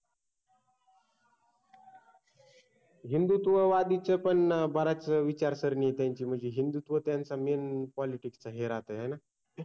हिंदुत्ववादीच पण बराच वेळ विचारसरणीय त्यांची म्हणजे हिंदुत्व त्यांच MAIN POLITICS हे राहत हायना